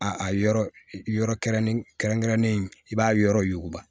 A a yɔrɔ yɔrɔ kɛrɛnkɛrɛnnen kɛrɛnkɛrɛnnen i b'a yɔrɔ yuguba